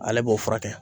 Ale b'o furakɛ